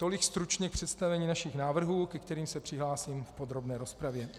Tolik stručně k představení našich návrhů, ke kterým se přihlásím v podrobné rozpravě.